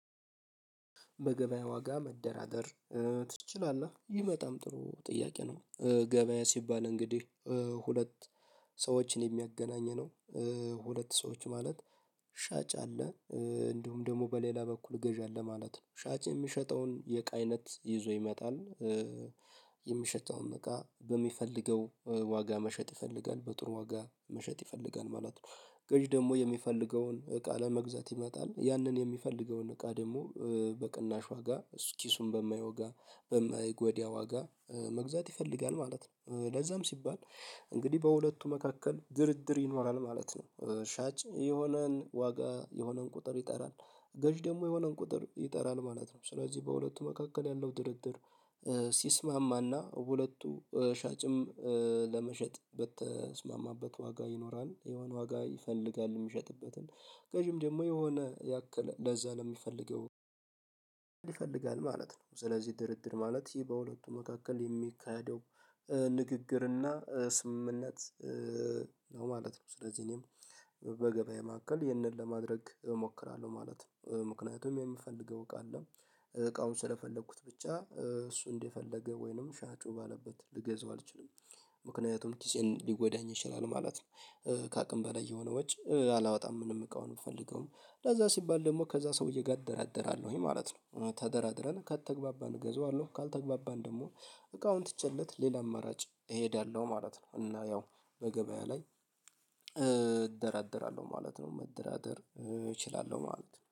በገበያ ዋጋ መደራደር ትችላለህ? ይመጣም ጥሩ ጥያቄ ነው። ገበያ ሲባል እንግዲህ ሁለት ሰዎችን የሚያገናኘነው ሁለት ሰዎች ማለት ሻጭ አለ እንዲሁም ደግሞ በሌላ በኩል ገዢ አለ ማለት ነው ሻጭ የሚሸጠውን የቃይነት ይዞ ይመጣል። የሚሸጠውን እቃ በሚፈልገው ዋጋ መሸጥ ይፈልጋል በጥሩ ዋጋ መሸጥ ይፈልጋል ማለት ነው። ገዢ ደግሞ የሚፈልገውን እቃ ለመግዛት ይመጣል ያንን የሚፈልገውን እቃ ደግሞ በቅናሽ ዋጋ ኪሱን በማይወጋ በማይጎዳ ዋጋ መግዛት ይፈልጋል ማለት ነው። ለዛም ሲባል እንግዲህ በሁለቱ መካከል ድርድር ይኖራል ማለት ነው። ሻጭ የሆነን ዋጋ የሆነን ቁጥር ይጠራል ገዥ ደግሞ የሆነን ቁጥር ይጠራል ማለት ነው። ስለዚህ በሁለቱ መካከል ያለው ድርድር። ሁለቱ ሻጭም ለመሸጥ በተስማማበት ዋጋ ይኖራል የሄዋን ዋጋ ይፈልጋል የሚሸጥበትን ገዢም ደግሞ የሆነ ያክል ለዛ ለሚፈልገው ማለት ነው። ስለዚህ ድርድር ማለት ይህ በሁለቱ መካከል የሚካሄደው ንግግርና ስምምነት ነው ማለት ነው። ስለዚህ እኔም በገበያ ማዕከል ይህንን ለማድረግ እሞክራለሁ ማለት ነው። ምክንያቱም የሚፈልገው እቃ አለ እቃውን ስለፈለኩት ብቻ እሱ እንደፈለገ ወይንም ሻጩ ባለበት ልገዛው አልችልም። ምክንያቱም ኪሴን ሊጎዳኝ ይችላል ማለት ነው። ከአቅም በላይ የሆነ ውጭ አላወጣም ምንም እቃውን የምፈልገው ለዛ ሲባል ደግሞ ከዛ ሰውዬ ጋር እደራደራለሁኝ ማለት ነው። ተደራድረን ከተግባባን እገዛዋለሁ ካልተግባባን ደግሞ እቃውን ትቸለት ሌላ አመራጭ እሄዳለሁ ማለት ነው። እና ያው በገበያ ላይ እደራደራለሁ ማለት ነው። መደራደር እችላለሁ ማለት ነው